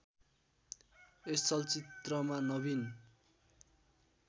यस चलचित्रमा नवीन